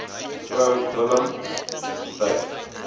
me willemse getuig